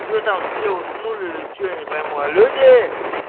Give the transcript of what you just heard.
что там все уснули что не пойму а люди